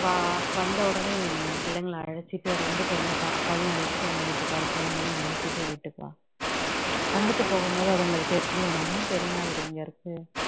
வா வந்த உடனே நீ பிள்ளைங்களை அழைச்சுட்டு ரெண்டுபேருமே பாப்பாவயும் அழைச்சுட்டு உங்க வீட்டுக்காரர் பிள்ளைங்களையும் அழைச்சுட்டு வீட்டுக்கு வா ப்ச்சு வந்துட்டு போகும்போது அதுங்களுக்கு தெரியும் நம்மளும் பெரியம்மா வீடு